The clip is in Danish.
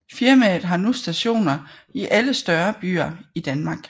Firmaet havde nu stationer i alle større byer i Danmark